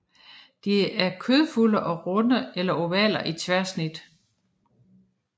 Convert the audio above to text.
De er kødfulde og runde eller ovale i tværsnit